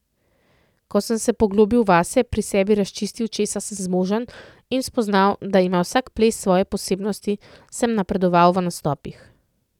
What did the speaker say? Ko sem se poglobil vase, pri sebi razčistil, česa sem zmožen, in spoznal, da ima vsak ples svoje posebnosti, sem napredoval v nastopih.